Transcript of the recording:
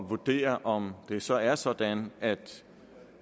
vurdere om det så er sådan at